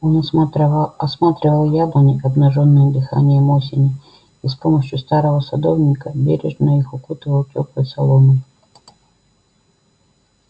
он осматривал яблони обнажённые дыханием осени и с помощию старого садовника бережно их укутывал тёплой соломой